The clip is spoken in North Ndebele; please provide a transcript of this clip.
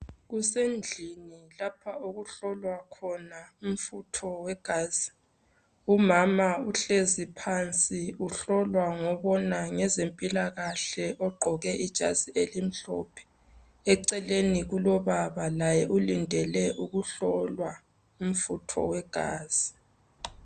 Kusendlini lapho okuhlolwa khona umfutho wegazi. Umama uhlezi phansi. Uhlolwa ngobona ngezempilakahle, ogqoke ezimhlophe. Eceleni kwakhe kulobaba, Laye ulindele ukuhlolwa umfutho wegazi.